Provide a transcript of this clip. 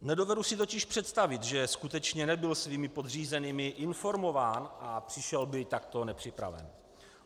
Nedovedu si totiž představit, že skutečně nebyl svými podřízenými informován a přišel by takto nepřipraven.